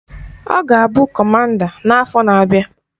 Ọ ga-abụ Kọmanda n-afọ n'abịa.